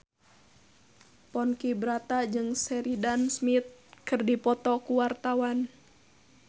Ponky Brata jeung Sheridan Smith keur dipoto ku wartawan